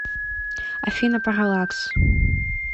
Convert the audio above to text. афина паралакс